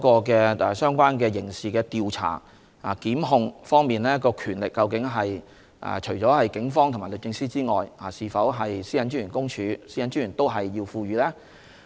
其次是在刑事調查和檢控的權力方面，除了警方和律政司之外，是否應該賦予公署和專員同樣權力呢？